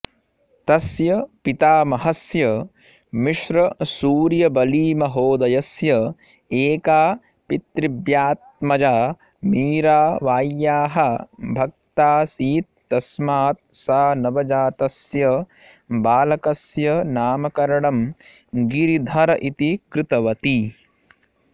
तस्य पितामहस्य मिश्रसूर्यबलीमहोदयस्य एका पितृव्यात्मजा मीराबाय्याः भक्तासीत्तस्मात् सा नवजातस्य बालकस्य नामकरणं गिरिधर इति कृतवती